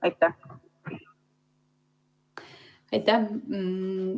Aitäh!